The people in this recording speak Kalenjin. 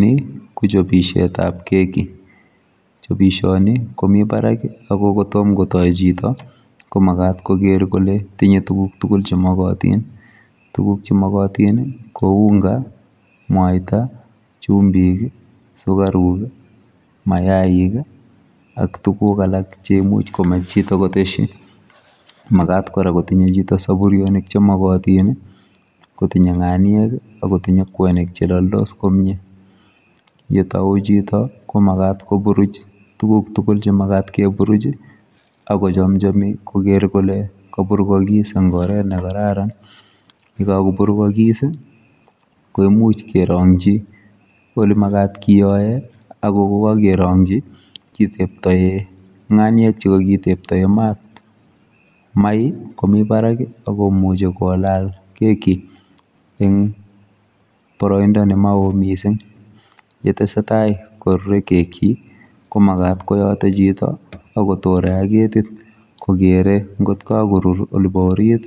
Ni ko chopishetap keki, chopishoni komi barak ako kotom kotoi chito komakat koker kole tinye tuguk tugul chemokotin. Tuguk chemokotin ko unga, mwaita, chumbik, sukaruk, mayaik ak tuguk alak cheimuch komech chito koteshi. Makat kora kotinye chito soburyonik chemokotin, kotinye ng'aniek akotinye kwenik cheloldos komie. yetou chito, ko makat koburuch tuguk tukul chemakat keburuch akochomchomi koker kole kaburukokis eng oret nekararan. Yekakoburukokis ko imuch kerong'chi olemakat keyoe ako kokakerong'chi kiteptoe ng'aniek chekakiteptoe mat. Mai komi barak akomuchi kolal keki eng boroindo ne mao mising. yetesetai korurei keki, ko makat koyote chito akotore ak ketit kokere nkot kakorur olepo orit